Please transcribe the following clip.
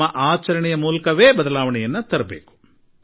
ನಮ್ಮ ನಡತೆಯಿಂದ ನಾವು ಬದಲಾವಣೆ ತರಬೇಕಾಗಿದೆ